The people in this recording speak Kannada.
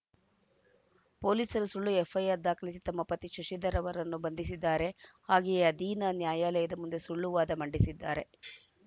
ಪೊಲೀಸರು ಸುಳ್ಳು ಎಫ್‌ಐಆರ್‌ ದಾಖಲಿಸಿ ತಮ್ಮ ಪತಿ ಶಶಿಧರ್‌ ಅವರನ್ನು ಬಂಧಿಸಿದ್ದಾರೆ ಹಾಗೆಯೇ ಅಧೀನ ನ್ಯಾಯಾಲಯದ ಮುಂದೆ ಸುಳ್ಳು ವಾದ ಮಂಡಿಸಿದ್ದಾರೆ